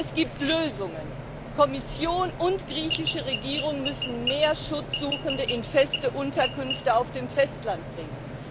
Es gibt Lösungen Kommission und griechische Regierung müssen mehr Schutzsuchende in feste Unterkünfte auf dem Festland bringen.